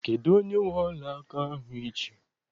Kedụ onye nwe ọla aka ahụ I ji?